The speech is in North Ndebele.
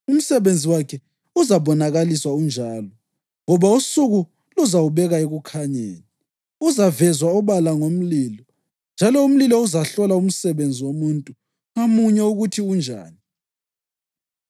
umsebenzi wakhe uzabonakaliswa unjalo, ngoba usuku luzawubeka ekukhanyeni. Uzavezwa obala ngomlilo, njalo umlilo uzahlola umsebenzi womuntu ngamunye ukuthi unjani.